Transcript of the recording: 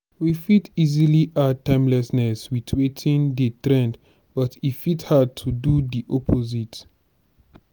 we fit easily add timelessness with wetin dey trend but e fit hard to to do di opposite